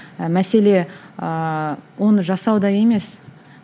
ы мәселе ыыы оны жасауда емес